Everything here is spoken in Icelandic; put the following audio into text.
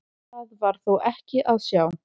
Það var þó ekki að sjá.